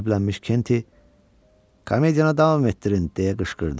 Qəzəblənmiş Kenti: "Komediyanı davam etdirin!" deyə qışqırdı.